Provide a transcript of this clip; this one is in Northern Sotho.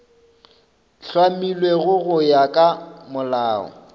hlamilwego go ya ka molao